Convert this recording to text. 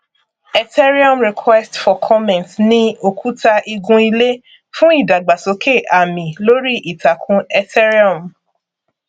ethereum request for comment ni òkúta igun ilé fún ìdàgbàsókè àmì lórí ìtàkùn ethereum